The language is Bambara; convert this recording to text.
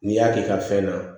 N'i y'a k'i ka fɛn na